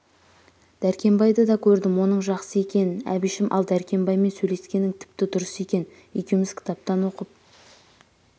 дәркембайды да көрдім оның жақсы екен әбішім ал дәркембаймен сөйлескенің тіпті дұрыс сен екеуміз кітаптан оқып